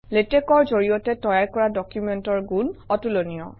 লেটেক্সৰ জৰিয়তে তৈয়াৰ কৰা ডকুমেণ্টৰ গুণ অতুলনীয়